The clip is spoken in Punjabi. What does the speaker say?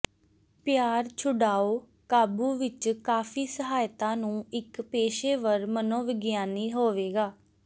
ਪਿਆਰ ਛੁਡਾਊ ਕਾਬੂ ਵਿਚ ਕਾਫੀ ਸਹਾਇਤਾ ਨੂੰ ਇੱਕ ਪੇਸ਼ੇਵਰ ਮਨੋਵਿਗਿਆਨੀ ਹੋਵੇਗਾ